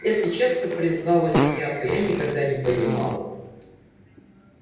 если честно призналась я то я никогда не понимала